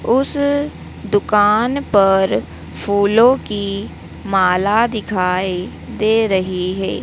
उस दुकान पर फूलों की माला दिखाई दे रही है।